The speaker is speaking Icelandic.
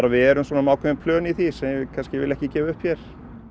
við erum með ákveðin plön í því sem ég vil kannski ekki gefa upp hér